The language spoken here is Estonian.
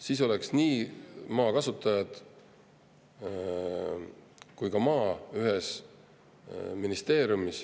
Siis oleks nii maa kasutajad kui ka maa ühes ministeeriumis.